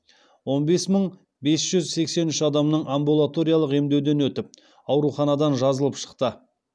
он бес мың бес жүз сексен үш адамның амбулаториялық емдеуден өтіп ауруханадан жазылып шықты